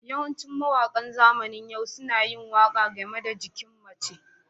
Yawancin mawaƙa zamanin yau suna yin waƙa game da jikin mace.